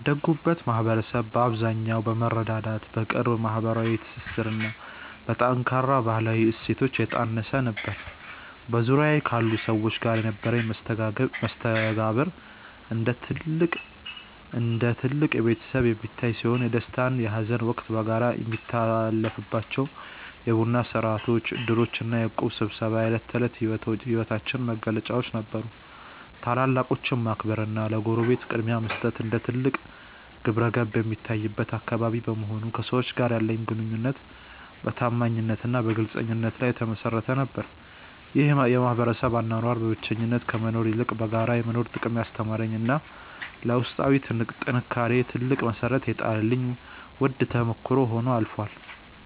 ያደግኩበት ማኅበረሰብ በአብዛኛው በመረዳዳት፣ በቅርብ ማኅበራዊ ትስስርና በጠንካራ ባሕላዊ እሴቶች የታነፀ ነበር። በዙሪያዬ ካሉ ሰዎች ጋር የነበረኝ መስተጋብር እንደ አንድ ትልቅ ቤተሰብ የሚታይ ሲሆን፣ የደስታና የሐዘን ወቅት በጋራ የሚታለፍባቸው የቡና ሥርዓቶች፣ ዕድሮችና የእቁብ ስብሰባዎች የዕለት ተዕለት ሕይወታችን መገለጫዎች ነበሩ። ታላላቆችን ማክበርና ለጎረቤት ቅድሚያ መስጠት እንደ ትልቅ ግብረገብ የሚታይበት አካባቢ በመሆኑ፣ ከሰዎች ጋር ያለኝ ግንኙነት በታማኝነትና በግልጽነት ላይ የተመሠረተ ነበር። ይህ የማኅበረሰብ አኗኗር በብቸኝነት ከመኖር ይልቅ በጋራ የመኖርን ጥቅም ያስተማረኝና ለውስጣዊ ጥንካሬዬ ትልቅ መሠረት የጣለልኝ ውድ ተሞክሮ ሆኖ አልፏል።